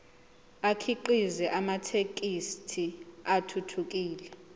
akhiqize amathekisthi athuthukile